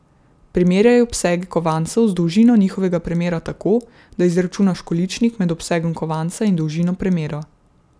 Primerjaj obsege kovancev z dolžino njihovega premera tako, da izračunaš količnik med obsegom kovanca in dolžino premera.